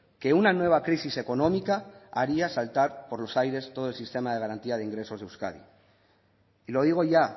que una nueva crisis económica haría saltar por los aires todo el sistema de garantía de ingresos de euskadi y lo digo ya